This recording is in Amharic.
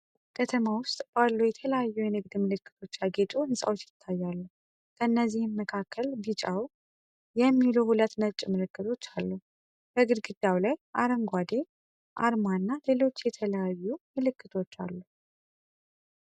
ከተማ ውስጥ ባሉ የተለያዩ የንግድ ምልክቶች ያጌጡ ሕንጻዎች ይታያሉ። ከእነዚህም መካከል ቢጫው "Melos Trading" እና "Beza Pharmacy" የሚሉ ሁለት ነጭ ምልክቶች አሉ። በግድግዳው ላይ አረንጓዴ የ"m-pesa" አርማ እና ሌሎች የተለያዩ ምልክቶች አሉ።